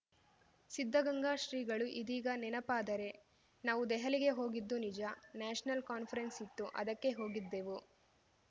ಸಿದ್ಧಗಂಗಾ ಶ್ರೀಗಳು ಇದೀಗ ನೆನಪಾದರೆ ನಾವು ದೆಹಲಿಗೆ ಹೋಗಿದ್ದು ನಿಜ ನ್ಯಾಷನಲ್ ಕಾನ್ಫರೆನ್ಸ್‌ ಇತ್ತು ಅದಕ್ಕೆ ಹೋಗಿದ್ದೆವು